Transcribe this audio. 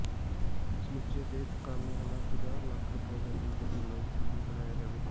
ਸਮੁੱਚੇ ਸਿਹਤ ਕਾਮਿਆਂ ਦਾ ਪੰਜਾਹ ਲੱਖ ਰੁਪਏ ਦਾ ਜੀਵਨ ਬੀਮਾ ਯਕੀਨੀ ਬਣਾਇਆ ਜਾਵੇ